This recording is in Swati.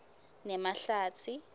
nemahlatsi